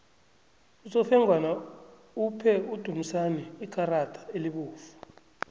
usofengwana uphe udumisani ikarada elibovu